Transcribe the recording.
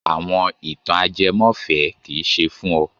Àwọn ìtàn ajẹmọ́fẹ̀ẹ́ kì í ṣe fún ọ!